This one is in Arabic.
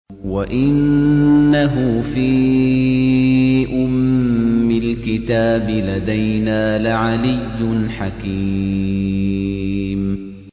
وَإِنَّهُ فِي أُمِّ الْكِتَابِ لَدَيْنَا لَعَلِيٌّ حَكِيمٌ